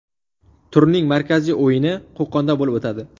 Turning markaziy o‘yini Qo‘qonda bo‘lib o‘tadi.